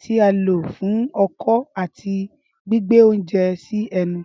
ti a lo fun ọkọ ati gbigbe ounjẹ si ẹnu.